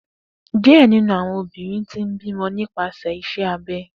Diẹ ninu awọn obinrin ti n bimọ nipasẹ iṣẹ abẹ.